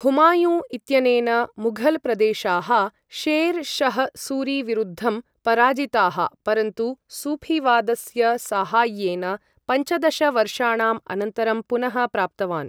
हुमायूं इत्यनेन मुघल् प्रदेशाः शेर् शह् सूरिविरुद्धं पराजिताः परन्तु सूऴीवादस्य साहाय्येन पञ्चदश वर्षाणाम् अनन्तरं पुनः प्राप्तवान्।